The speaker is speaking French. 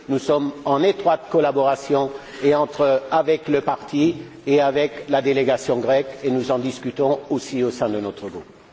Nous sommes en étroite collaboration tant avec le parti qu'avec la délégation grecque, et nous en discutons aussi au sein de notre groupe.